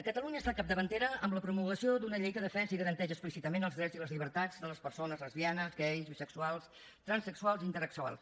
catalunya ha estat capdavantera en la promulgació d’una llei que defensa i garanteix explícitament els drets i les llibertats de les persones lesbianes gais bisexuals transsexuals i intersexuals